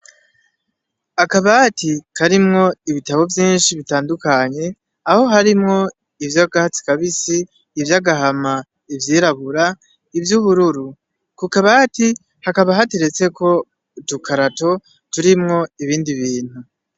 Akabati karimwo ibitabo vyinshi bitandukanye, aho harimwo ivy'akatsi kabisi, ivy'agahama, ivyirabura, ivy'ubururu. Ku kabati hakaba hateretseko udukarato turimwo ibindi bintu.